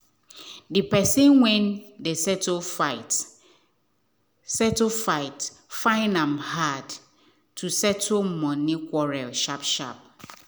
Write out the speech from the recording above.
the person wen dey settle fight settle fight find am hard to settle money quarrel sharp sharp